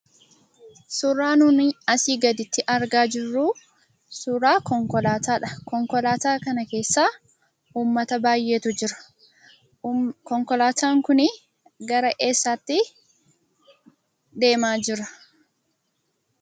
Suuraa nuni asii gaditti argaa jirru suuraa konkolaataadha. Konkolaataa kana keessa uummata baay'eetu jira. Konkolaataan kun gara eessaatti deemaa jira?